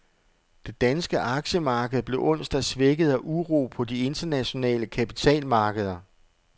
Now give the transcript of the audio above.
Det danske aktiemarked blev onsdag svækket af uro på de internationale kapitalmarkeder.